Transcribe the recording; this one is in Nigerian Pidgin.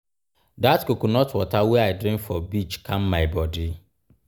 dat coconut water wey i drink for beach calm my bodi.